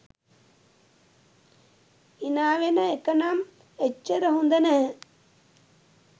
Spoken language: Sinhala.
හිනාවෙන එකනම් එච්චර හොඳ නැහැ